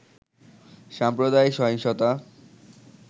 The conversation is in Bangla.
সাম্প্রদায়িক সহিংসতা